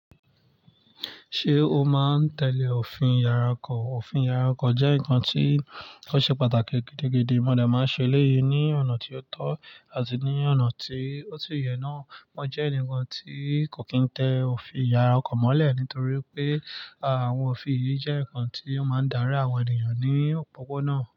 Ṣé o máa ń tẹ̀lé òfin yàrá ọkọ̀? Òfin yàrá ọkọ̀ jẹ́ nǹkan tí ó ṣe pàtàkì gidigidi. Mo dè máa ṣe eléyìí ní ọ̀nà tí ó tọ́ àti ní ọ̀nà tí ó sì yẹ náà. Wọ́n jẹ́ ẹnìkan tí kò kín tẹ òfin yàrá ọkọ̀ mọ́lẹ̀ nítorí pé àwọn òfin yìí jẹ́ ǹkan tí ó máa ń dárí àwọn ènìyàn ní òpópónà.